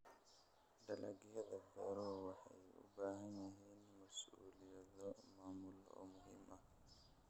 Dalagyada beeruhu waxay u baahan yihiin mas'uuliyado maamul oo muhiim ah.